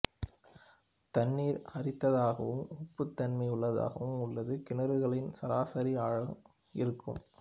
தண்ணீர் அரிதாகவும் உப்புத்தன்மை உள்ளதாகவும் உள்ளது கிணறுகளின் சராசரி ஆழம் இருக்கும்